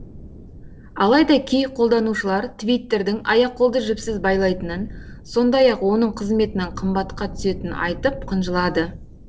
алайда кей қолданушылар твиттердің аяқ қолды жіпсіз байлайтынын сондай ақ оның қызметінің қымбатқа түсетінін айтып қынжылады